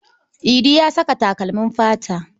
Idi ya saka takalmin fata.